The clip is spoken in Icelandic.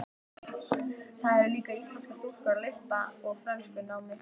Þar eru líka íslenskar stúlkur í lista- og frönskunámi.